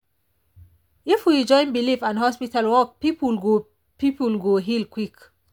if we join belief and hospital work people go people go heal quick.